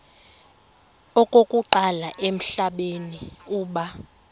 okokuqala emhlabeni uba